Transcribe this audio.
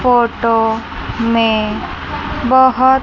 photo में बहोत--